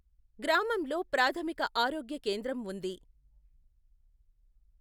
గ్రామంలో ప్రాధమిక ఆరోగ్య కేంద్రం ఉంది.